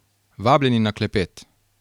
Vabljeni na klepet.